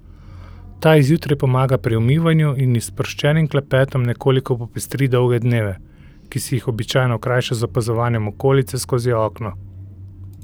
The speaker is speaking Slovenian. Ta ji zjutraj pomaga pri umivanju in ji s sproščenim klepetom nekoliko popestri dolge dneve, ki si jih običajno krajša z opazovanjem okolice skozi okno.